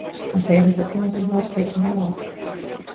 Hann segir þetta tímabil hafa tekið mig á.